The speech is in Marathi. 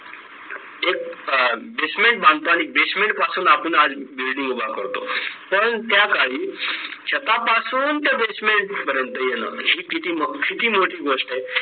अं basement बांधतांनी basement पासून आपण आज building उभा करतो पण त्या काळी छतापासून ते basement पर्यंत येणं ही किती मोठी गोष्ट आहे